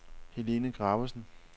Helene Gravesen